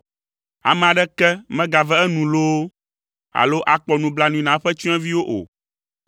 Ame aɖeke megave enu loo, alo akpɔ nublanui na eƒe tsyɔ̃eviwo o.